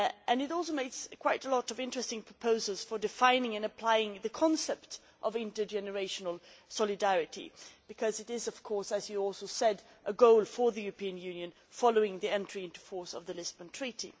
It also makes quite a lot of interesting proposals for defining and applying the concept of intergenerational solidarity, because this is, as you also said, a goal for the European Union following the entry into force of the Lisbon Treaty.